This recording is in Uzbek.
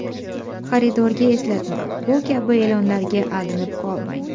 Xaridorga eslatma Bu kabi e’lonlarga aldanib qolmang.